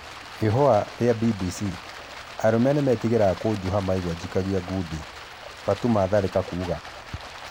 Ihũa rĩa BBC:Arũme nĩmetigĩraga kũjuha maigwa njikagia ngundi Batũma Tharĩka kuga